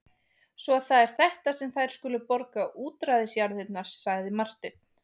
Svo það er þetta sem þær skulu borga útræðisjarðirnar, sagði Marteinn.